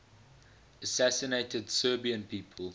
assassinated serbian people